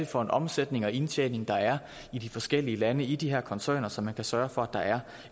for en omsætning og indtjening der er i de forskellige lande i de her koncerner så man kan sørge for at der er